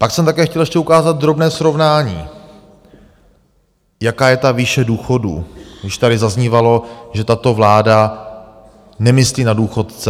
Pak jsem také chtěl ještě ukázat drobné srovnání, jaká je ta výše důchodů, když tady zaznívalo, že tato vláda nemyslí na důchodce.